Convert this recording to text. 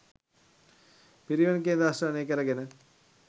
පිරිවෙන් කේන්ද්‍රස්ථානය කරගෙන